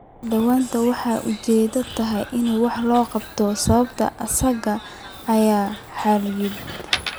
Daaweyntu waxay ujeedadeedu tahay in wax laga qabto sababta asaasiga ah ee xaaladda.